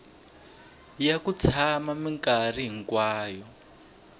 ya ku tshama minkarhi hinkwayo